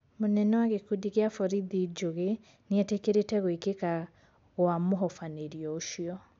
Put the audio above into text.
Munene wa gĩkundi gĩa borithi Njũgĩ nĩetekerete guĩkeka gua mũhofanĩrio ũcio